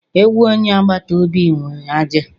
Ewu onye agbata obi nwere ajị